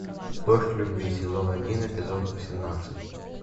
дождь любви сезон один эпизод восемнадцать